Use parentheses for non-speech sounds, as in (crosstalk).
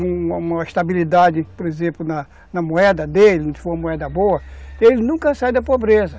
(unintelligible) uma estabilidade, por exemplo, na moeda dele, se for uma moeda boa, ele nunca sai da pobreza.